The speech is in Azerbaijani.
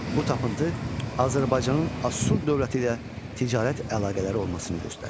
Bu tapıntı Azərbaycanın Assur dövləti ilə ticarət əlaqələri olmasını göstərir.